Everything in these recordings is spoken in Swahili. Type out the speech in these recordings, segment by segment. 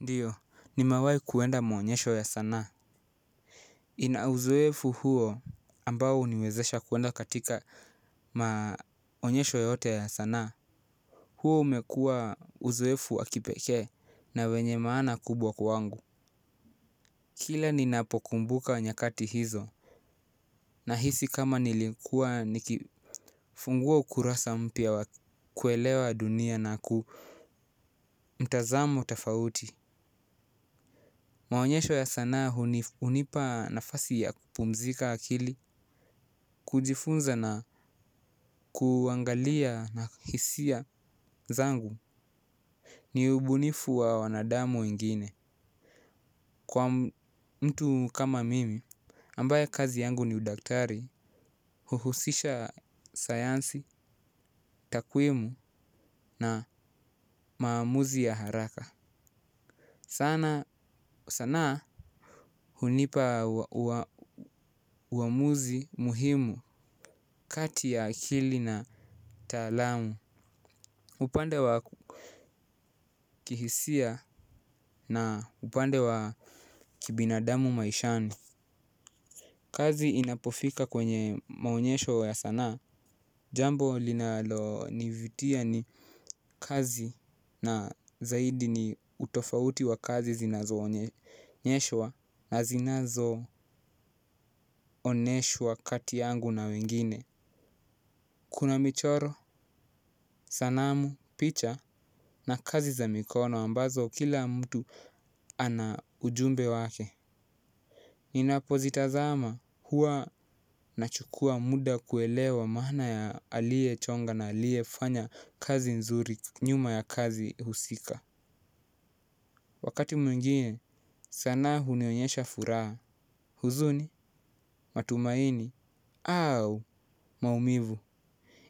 Ndio nimewai kuenda maonyesho ya sanaa nina uzoefu huo ambao huniwezesha kuenda katika maonesho ya sanaa. Huu umekua uzoefu wa kipeke na wenye maana kubwa kwangu. Kila ni napokumbuka nyakati hizo na hisi kama nilikuwa nikifungua ukurasa mpya kuelewa dunia na ku mtazamo tafauti. Maonyesho ya sanaa hunipa nafasi ya kupumzika akili. Kujifunza na kuangalia na hisia zangu. Ni ubunifu wa wanadamu ingine. Kwa mtu kama mimi ambaye kazi yangu ni udaktari. Huhusisha sayansi, takwemi na maamuzi ya haraka. Sanaa hunipa uamuzi muhimu kati ya akili na Taalamu. Upande wa kihisia na upande wa kibinadamu maishani. Kazi inapofika kwenye maonyesho ya sanaa jambo linalo nivutia ni kazi na zaidi ni utofauti wa kazi zinazo onyeshwa na zinazo oneshwa kati yangu na wengine. Kuna michoro, sanamu, picha na kazi za mikono ambazo kila mtu ana ujumbe wake. Ninapo zitazama huwa nachukua muda kuelewa maana ya aliye chonga na aliye fanya kazi nzuri nyuma ya kazi husika. Wakati mwingine sanaa hunionyesha furaha, huzuni, matumaini, au maumivu.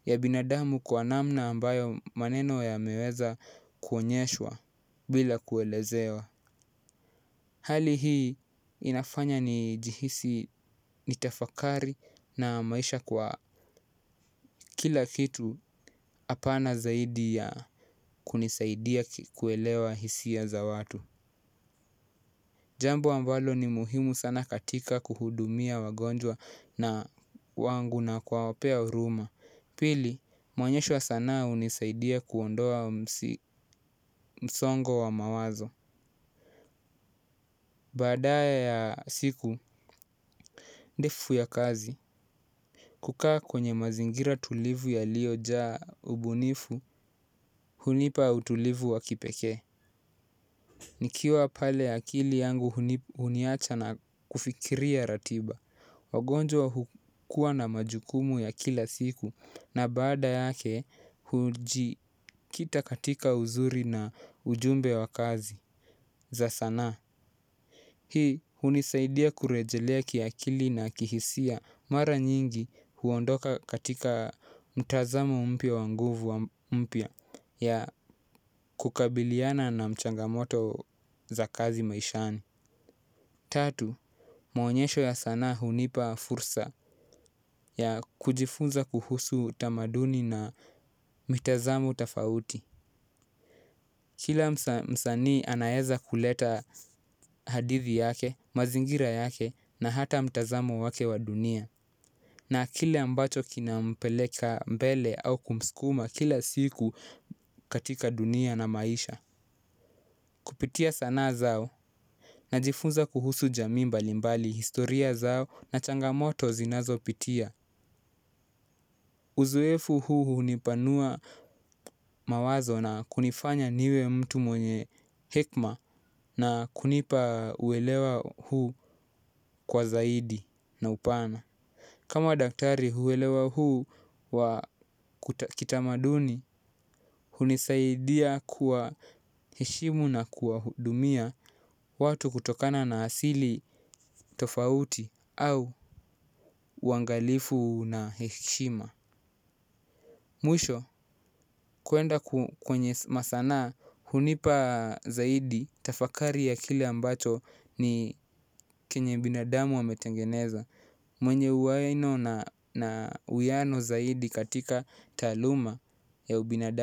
Ya binadamu kwa namna ambayo maneno yameweza kuonyeshwa bila kuelezewa. Hali hii inafanya ni jihisi nitafakari na maisha kwa kila kitu hapa na zaidi ya kunisaidia kuelewa hisia za watu. Jambo ambalo ni muhimu sana katika kuhudumia wagonjwa na wangu na kuwapea huruma. Pili, maonyesho wa sanaa hunisaidia kuondoa msongo wa mawazo. Badaa ya siku, ndefu ya kazi. Kukaa kwenye mazingira tulivu yalio jaa ubunifu, hunipa utulivu wakipekee. Nikiwa pale akili yangu huniacha na kufikiria ratiba. Wagonjwa hukua na majukumu ya kila siku na baada yake hujikita katika uzuri na ujumbe wa kazi za sanaa. Hii hunisaidia kurejelea kiakili na kihisia mara nyingi huondoka katika mtazamo mpiya wa nguvu wa mpya ya kukabiliana na mchanga moto za kazi maishani. Tatu, maonyesho ya sanaa hunipa fursa ya kujifunza kuhusu tamaduni na mitazamo tofauti. Kila msanii anaeza kuleta hadithi yake, mazingira yake na hata mtazamo wake wa dunia. Na kile ambacho kinampeleka mbele au kumskuma kila siku katika dunia na maisha. Kupitia sanaa zao najifunza kuhusu jamii mbali mbali historia zao na changa moto zinazo pitia. Uzoefu huu hunipanua mawazo na kunifanya niwe mtu mwenye hekima na kunipa uelewa huu kwa zaidi na upana. Kama daktari huelewa huu wa kuta kitamaduni, hunisaidia kuwa heshimu na kuwa hudumia watu kutokana na asili tofauti au uangalifu na heshima. Mwisho kuenda kwenye masanaa hunipa zaidi tafakari ya kile ambacho ni kenye binadamu ametengeneza mwenye uwaino na uwiano zaidi katika taaluma ya ubinadamu.